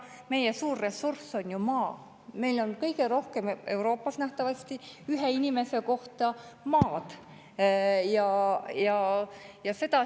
Meie suur ressurss on ju maa, meil on Euroopas nähtavasti kõige rohkem maad ühe inimese kohta.